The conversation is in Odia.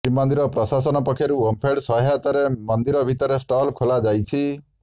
ଶ୍ରୀମନ୍ଦିର ପ୍ରଶାସନ ପକ୍ଷରୁ ଓମଫେଡ ସହାୟତାରେ ମନ୍ଦିର ଭିତରେ ଷ୍ଟଲ ଖୋଲାଯାଇଛି